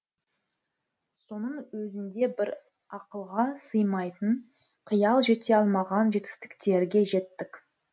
соның өзінде біз ақылға сыймайтын қиял жете алмаған жетістіктерге жеттік